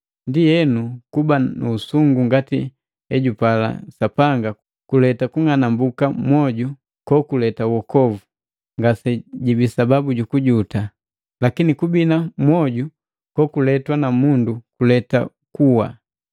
Ndienu kuba nu usungu ngati ejupala Sapanga kuleta kung'anambuka mwoju kokuleta uokovu; ngasejibi sababu jukujuta. Lakini kubina mwoju kokuletwa na mundu kuleta kuwa.